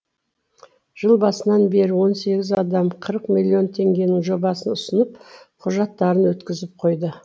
жыл басынан бері он сегіз адам қырық миллион теңгенің жобасын ұсынып құжаттарын өткізіп қойды